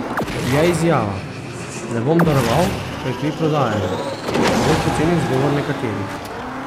Je izjava: "Ne bom daroval, ker kri prodajajo" zgolj poceni izgovor nekaterih?